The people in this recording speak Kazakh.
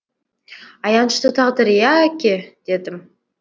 аянышты тағдыр иә әке дедім